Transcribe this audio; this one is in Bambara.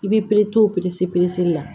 I b'i to o la